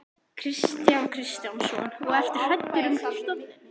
Kristján Kristjánsson: Og ertu hræddur um stofninn?